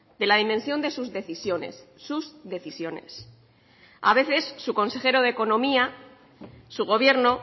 de la dimensión de sus decisiones sus decisiones a veces su consejero de economía su gobierno